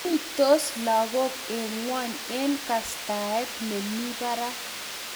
Ruitos lagok eng ngwony eng kastaet ne mi barak